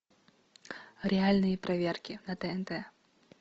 реальные проверки на тнт